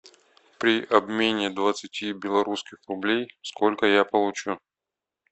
при обмене двадцати белорусских рублей сколько я получу